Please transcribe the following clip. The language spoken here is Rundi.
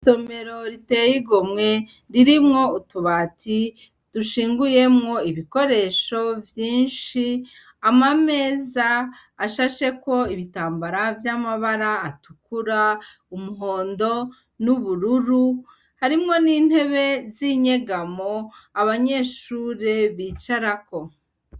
Isomero riteye igomwe, ririmwo utubati dushinguyemwo ibikoresho vyinshi, ama meza ashasheko ibitambara vy' amabara atukura, umuhondo n' ubururu, harimwo n' intebe z' inyegamo abanyeshure bicarako.